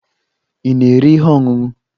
Ị na-ere ihe ọṅụṅụ?